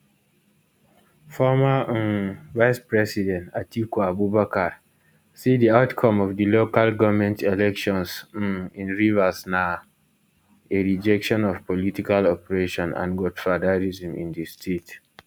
former um vicepresident atiku abubakar say di outcome of di local goment elections um in rivers na a rejection of political oppression and godfatherism in di state